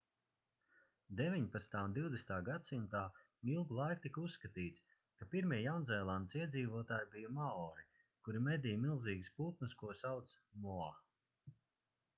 19. un 20. gs ilgu laiku tika uzskatīts ka pirmie jaunzēlandes iedzīvotāji bija maori kuri medīja milzīgus putnus ko sauca moa